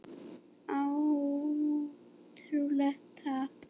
Áætlun, takk.